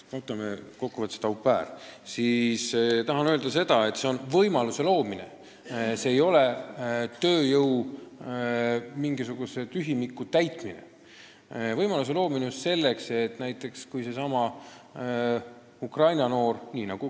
Aga ma tahan öelda, et selle seadusmuudatuse eesmärk on võimaluse loomine, mitte tööjõutühimiku täitmine.